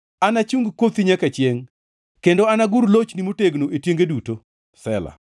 ‘Anachung kothi nyaka chiengʼ kendo anagur lochni motegno e tienge duto.’ ” Sela